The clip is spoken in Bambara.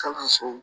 Kalanso